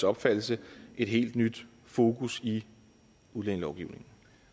opfattelse et helt nyt fokus i udlændingelovgivningen